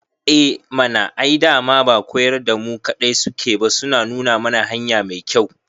Eh mana, ai dama ba koyar da mu kaɗai suke ba suna nuna mana hanya mai kyau